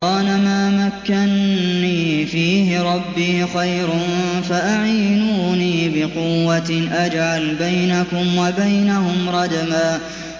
قَالَ مَا مَكَّنِّي فِيهِ رَبِّي خَيْرٌ فَأَعِينُونِي بِقُوَّةٍ أَجْعَلْ بَيْنَكُمْ وَبَيْنَهُمْ رَدْمًا